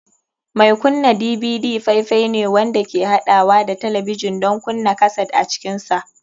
Mai kunna DVD faifai ne wanda ke haɗawa da talabijin don kunna kaset a cikinsa.